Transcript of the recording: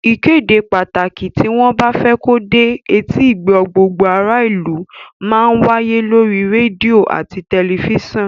Ìkéde pàtàkì tí wọ́n bá fẹ́ kó dé etígbọ̀ọ́ gbogbo ará ìlú má ń wáyé lórí rédíò àti tẹ̀lifísàn